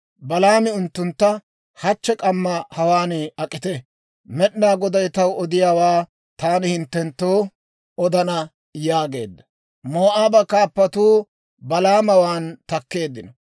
Balaami unttuntta, «Hachche k'amma hawaan ak'ite; Med'inaa Goday taw odiyaawaa taani hinttenttoo odana» yaageedda. Moo'aaba kaappatuu Balaamawaan takkeeddino.